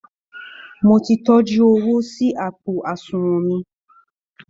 Mo ti tọ́jú owó sí àpò àṣùnwọn mi